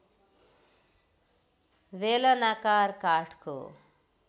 बेलनाकार काठको